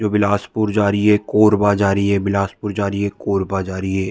जो बिलासपुर जा रही है कोरबा जा रही है बिलासपुर जा रही है कोरबा जा रही है।